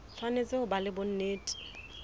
tshwanetse ho ba le bonnete